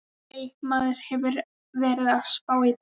Nei, maður hefur verið að spá í það.